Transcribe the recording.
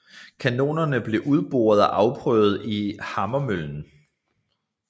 Kanonerne blev udboret og afprøvet i Hammermøllen